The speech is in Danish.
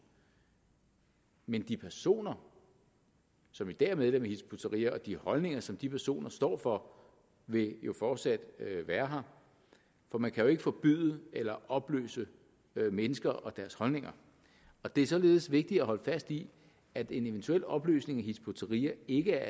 men de personer som i dag er medlem af hizb ut tahrir og de holdninger som de personer står for vil fortsat være her for man kan jo ikke forbyde eller opløse mennesker og deres holdninger det er således vigtigt at holde fast i at en eventuel opløsning af hizb ut tahrir ikke